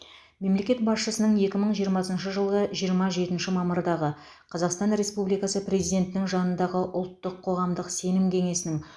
мемлекет басшысының екі мың жиырмасыншы жылғы жиырма жетінші мамырдағы қазақстан республикасы президентінің жанындағы ұлттық қоғамдық сенім кеңесінің